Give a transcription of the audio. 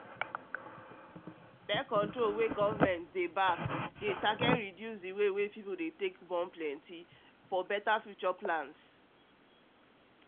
born-control wey government dey back dey um target reduce the way pipo take um dey plenty as better um future plans